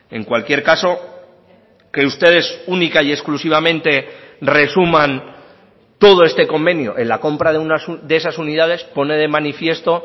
en cualquier caso que ustedes única y exclusivamente resuman todo este convenio en la compra de esas unidades pone de manifiesto